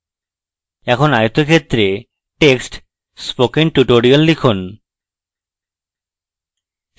এখন আয়তক্ষেত্রে text spoken tutorial লিখুন